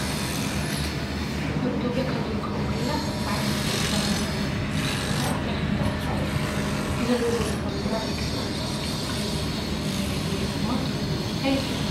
አብ ኢትዬጲያ ካብ ዝርከቡ ክልላት ናይ ባዕለን መለለይ ባንዴራ አለዎን ካብአተን ሓንቲ ክልል ዓፋር እዩ። እዚ ንሪኦ ዘለና ባንዴራ ናይ ክልል ዓፋር እዩ። አብዚ ማእከል ባንዴራ ዝኒሃ አርማ ትርጉሙ እንታይ ይመስለኩም?